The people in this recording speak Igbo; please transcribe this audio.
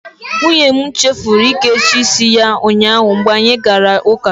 Nwunye m chefuru ike ịchafu isi ya ụnyaahụ mgbe anyị gara Church.